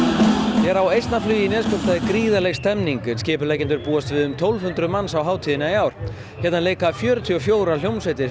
hér á Eistnaflugi í Neskaupstað er gríðarleg stemmning en skipuleggjendur búast við um tólf hundruð manns á hátíðina í ár hér leika fjörutíu og fjórar hljómsveitir fyrir